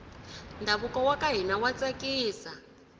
ndhavuko waka hina wa tsakisa